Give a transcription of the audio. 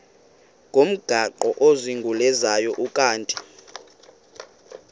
ngomgaqo ozungulezayo ukanti